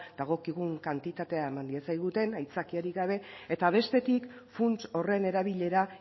dagokigun kantitatea eman diezaguten aitzakiarik gabe eta bestetik funts horren erabilera